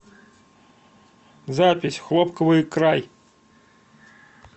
запись хлопковый край